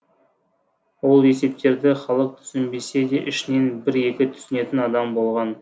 ол есептерді халық түсінбесе де ішінен бір екі түсінетін адам болған